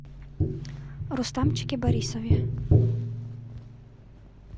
рустамчике борисове